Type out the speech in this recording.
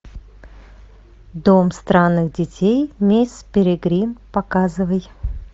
дом странных детей мисс перегрин показывай